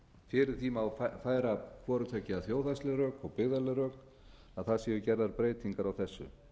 fyrir því má færa hvoru tveggja þjóðhagsleg rök og byggðaleg rök að það séu gerðar breytingar á þessu